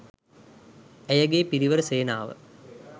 ඇයගේ පිරිවර සේනාව